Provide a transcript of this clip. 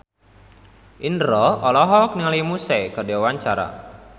Indro olohok ningali Muse keur diwawancara